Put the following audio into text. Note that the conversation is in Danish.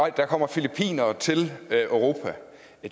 at der kommer filippinere til europa